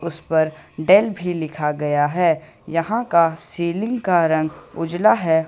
इस पर डेल भी लिखा गया है यहां का सीलिंग का रंग उजला है।